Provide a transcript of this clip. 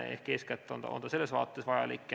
Eeskätt on see selles vaates vajalik.